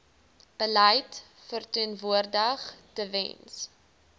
beleid verteenwoordig tewens